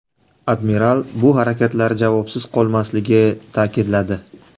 Admiral bu harakatlar javobsiz qolmasligi ta’kidladi.